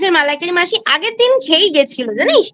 মালাইকারি মাসি আগের দিন খেয়েইগেছিল জানিস